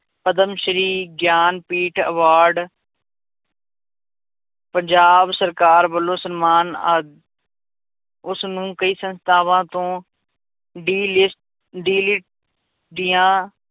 Padma Shri Jnanpith award Punjab ਸਰਕਾਰ ਵੱਲੋਂ ਸਨਮਾਨ ਆਦਿ ਉਸਨੂੰ ਕਈ ਸੰਸਥਾਵਾਂ ਤੋਂ ਦੀਆਂ